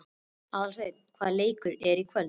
Aðalsteina, hvaða leikir eru í kvöld?